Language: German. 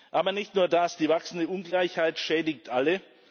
Aber nicht nur das Die wachsende Ungleichheit schädigt alle.